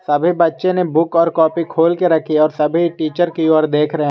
सभी बच्चे ने बुक और कॉपी खोल के रखी है और सभी टीचर की ओर देख रहे हैं।